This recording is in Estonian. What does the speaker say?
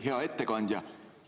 Hea ettekandja!